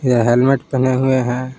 ये हेलमेट पहने हुए हैं।